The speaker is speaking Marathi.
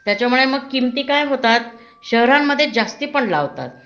त्याच्यामुळे मग किमती काय होतात शहरांमध्ये जास्ती पण लावतात